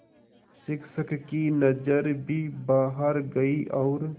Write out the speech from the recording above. शिक्षक की नज़र भी बाहर गई और